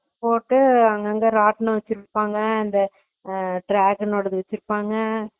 போட்டு அங்க ராட்டினம் வெச்சுருப்பாங்க அந்த ஹம் dragon ணோடாது வெச்சிருப்பாங்க